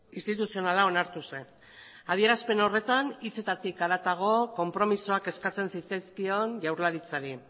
instituzionala onartu zen adierazpen horretan hitzetatik haratago konpromisoak eskatzen zitzaizkion jaurlaritzari